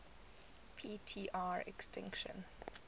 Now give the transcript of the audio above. p tr extinction